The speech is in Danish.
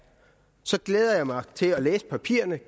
så glæder jeg mig til at læse papirerne